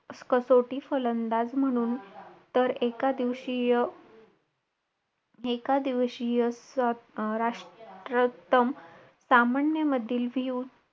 आई मारते पण आई आईच्या मायेमध्ये एक वेगळीच प्रेम आणि दया असते.